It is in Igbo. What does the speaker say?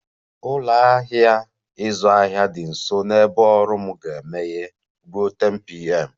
Ụlọ ahịa ịzụ ahịa dị nso na ebe ọrụ m ga-emeghe ruo 10pm